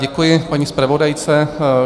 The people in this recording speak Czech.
Děkuji paní zpravodajce.